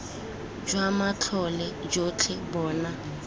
jwa matlole jotlhe bo na